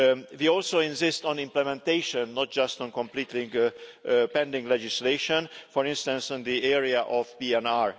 We also insist on implementation, not just on completing pending legislation, for instance in the area of PNR.